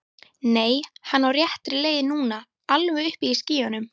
Nei, hann er á réttri leið núna. alveg uppi í skýjunum.